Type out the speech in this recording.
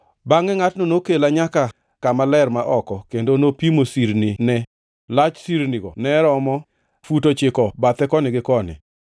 Bangʼe ngʼatno nokela nyaka kama ler ma oko, kendo nopimo sirnine, lach sirnigo ne romo fut ochiko bathe koni gi koni.